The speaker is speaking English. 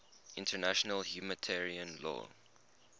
international humanitarian law